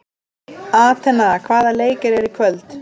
Atena, hvaða leikir eru í kvöld?